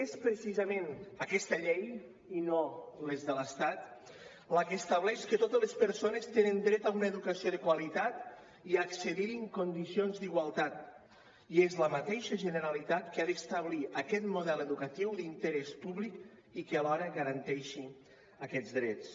és precisament aquesta llei i no les de l’estat la que estableix que totes les persones tenen dret a una educació de qualitat i accedir hi en condicions d’igualtat i és la mateixa generalitat qui ha d’establir aquest model educatiu d’interès públic i qui alhora garanteixi aquests drets